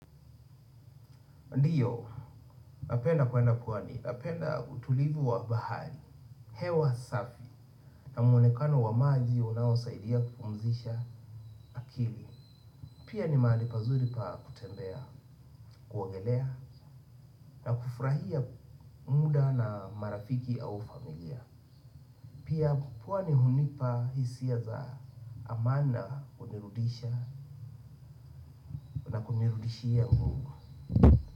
Ndiyo, napenda kwenda pwani, napenda utulivu wa bahari, hewa safi, na mwonekano wa maji unaosaidia kupumzisha akili. Pia ni mahali pazuri pa kutembea, kuogelea, na kufurahia muda na marafiki au familia. Pia pwani hunipa hisia za amani na hunirudishia nguvu.